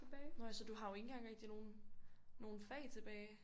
Nå ja så du har jo ikke engang rigtig nogen nogen fag tilbage